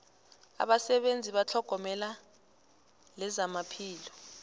abasebenzi betlhogomelo lezamaphilo